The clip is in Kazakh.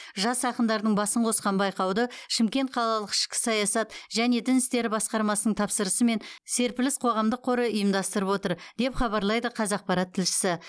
жас ақындардың басын қосқан байқауды шымкент қалалық ішкі саясат және дін істері басқармасының тапсырысымен серпіліс қоғамдық қоры ұйымдастырып отыр деп хабарлайды қазақпарат тілшісі